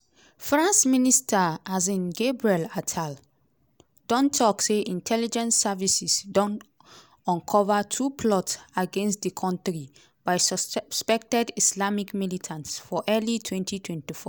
france prime minster um gabriel attal don tok say intelligence services don uncover two plots against di kontri by suspected islamic militants for early twenty twenty four.